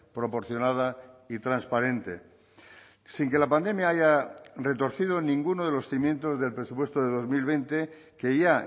proporcionada y transparente sin que la pandemia haya retorcido ninguno de los cimientos del presupuesto de dos mil veinte que ya